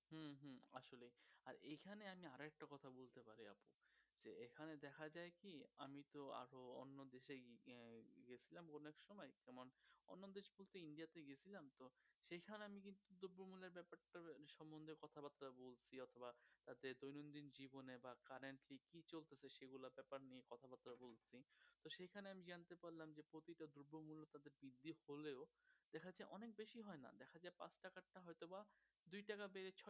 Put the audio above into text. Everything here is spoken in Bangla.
দুই টাকা বেড়ে ছয়